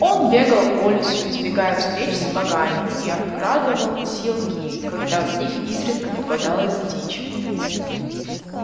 он бегал по лесу избегая встреч с богами и обкрадывал силки когда в них изредка попадалась дичь